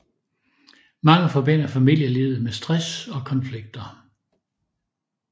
Mange forbinder familielivet med stress og konflikter